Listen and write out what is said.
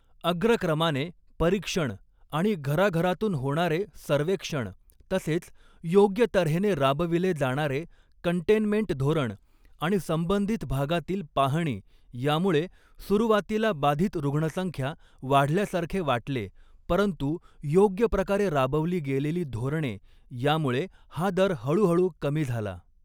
अग्रक्रमाने परिक्षण आणि घराघरातून होणारे सर्वेक्षण तसेच योग्य तऱ्हेने राबविले जाणारे कन्टेनमेंट धोरण आणि संबधित भागातील पाहणी यामुळे सुरुवातीला बाधित रुग्णसंख्या वाढल्यासारखे वाटले परंतू योग्य प्रकारे राबवली गेलेली धोरणे यामुळे हा दर हळूहळू कमी झाला.